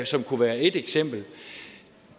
som kunne være et eksempel